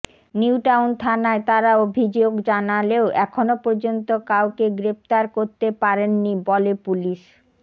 নিউটাউন থানায় তারা অভিযোগ জানালেও এখনও পর্যন্ত কাউকে গ্রেফতার করতে পারেননি বলে পুলিশ